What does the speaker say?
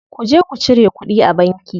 Ku je ku cire kuɗi a banki.